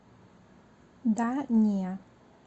да не